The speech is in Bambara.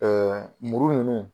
muru ninnu